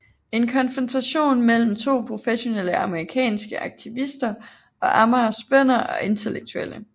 En konfrontation mellem to professionelle amerikanske aktivister og Amagers bønder og intellektuelle